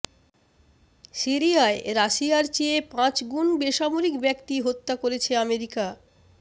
সিরিয়ায় রাশিয়ার চেয়ে পাঁচগুণ বেসামরিক ব্যক্তি হত্যা করেছে আমেরিকা